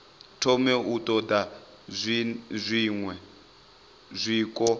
thoma u ṱoḓa zwiṅwe zwiko